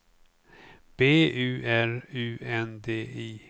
B U R U N D I